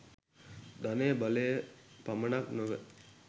ධනය බලය පමණක් නොව